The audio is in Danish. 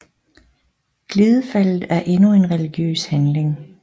Glidefaldet er endnu en religiøs handling